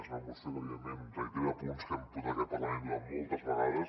és una moció que evidentment reitera punts que hem portat a aquest parlament moltes vegades